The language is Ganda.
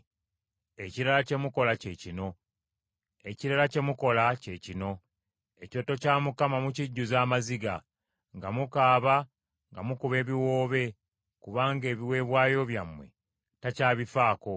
Ekirala kye mukola kye kino: Ekyoto kya Mukama mukijjuzza amaziga, nga mukaaba nga mukuba ebiwoobe kubanga ebiweebwayo byammwe takyabifaako.